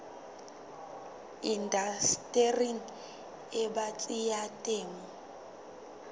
indastering e batsi ya temo